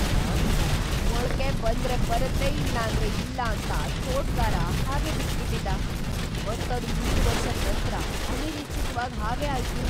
ಮಾವಿನ್ ಮರ ಮೊಳ್ಕೆ ಬಂದ್ರೆ ಬರುತ್ತೆ ಇಲ್ಲಾಂದ್ರೆ ಇಲ್ಲ ಅಂತ ತೋಟಗಾರ ಹಾಗೆ ಬಿಟ್ ಬಿಟ್ಟಿದ್ದ, ಮತ್ ಅದ್ ಮೂರು ವರ್ಷದ್ ನಂತ್ರ ಅನಿರೀಕ್ಷಿತವಾಗ್ ಹಾಗೆ ಆಯ್ತು.